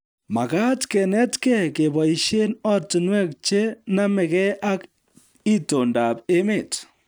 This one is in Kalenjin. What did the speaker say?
Makaat kenetkei keboisie ortinwek che namegei ak itondob emet